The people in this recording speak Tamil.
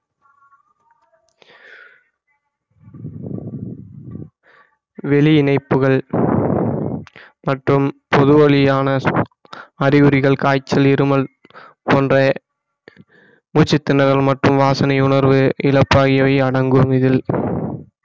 வெளி இணைப்புகள் மற்றும் பொது வழியான அறிகுறிகள் காய்ச்சல் இருமல் போன்ற மூச்சி திணறல் மற்றும் வாசனை உணர்வு இழப்பாகியவை அடங்கும் இதில்